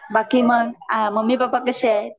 बाकी मग mummy papa कसे आहेत